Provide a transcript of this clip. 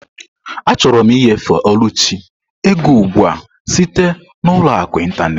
Achọrọ m ịnyefe Oluchi ego ugbu a site na ụlọ akụ ịntanetị.